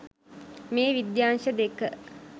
මේ විද්‍යාංශ දෙක